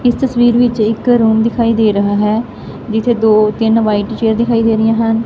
ਇਸ ਤਸਵੀਰ ਵਿੱਚ ਇੱਕ ਰੂਮ ਦਿਖਾਈ ਦੇ ਰਿਹਾ ਹੈ ਜਿੱਥੇ ਦੋ ਤਿੰਨ ਵਾਈਟ ਚੇਅਰ ਦਿਖਾਈ ਦੇ ਰਹੀਆਂ ਹਨ।